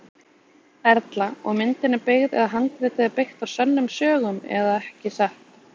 Erla: Og myndin er byggð eða handritið er byggt á sönnum sögum eða ekki satt?